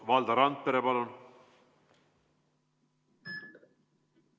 Valdo Randpere, palun!